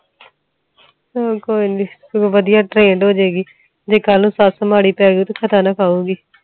ਹੁਣ ਕੋਇਨੀ ਵਧੀਆ ਟਰੈਂਡ ਹੋਜੂਗੀ ਜੇ ਸੱਸ ਮਾੜੀ ਪਏਗੀ ਤਾ ਧੱਕਾ ਨਾ ਖਾਉਂਗੀ